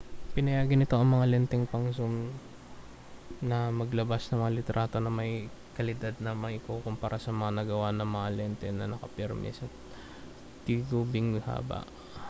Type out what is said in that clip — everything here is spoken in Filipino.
pinayagan nito ang mga lenteng pang-zoom na maglabas ng mga litrato na may kalidad na maikukumpara sa mga nagawa ng mga lente na nakapirmi ang tingubing haba